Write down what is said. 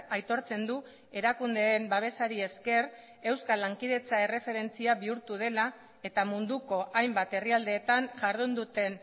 aitortzen du erakundeen babesari esker euskal lankidetza erreferentzia bihurtu dela eta munduko hainbat herrialdeetan jardun duten